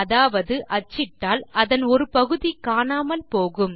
அதாவது அச்சிட்டால் அதன் ஒரு பகுதி காணாமல் போகும்